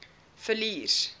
villiers